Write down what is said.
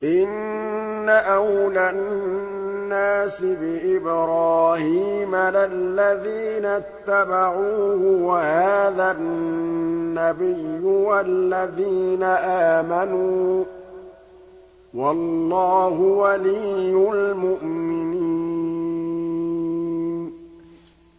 إِنَّ أَوْلَى النَّاسِ بِإِبْرَاهِيمَ لَلَّذِينَ اتَّبَعُوهُ وَهَٰذَا النَّبِيُّ وَالَّذِينَ آمَنُوا ۗ وَاللَّهُ وَلِيُّ الْمُؤْمِنِينَ